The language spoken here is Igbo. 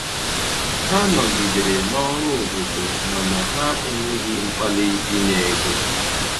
Ha nọgidere n'ọrụ obodo mana ha enweghi mkpali inye ego